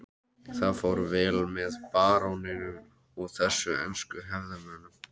Það fór vel á með baróninum og þessum ensku hefðarmönnum.